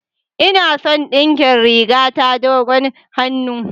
Ina son a dinkin rigata dogon hannu.